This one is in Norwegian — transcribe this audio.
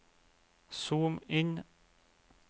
zoom inn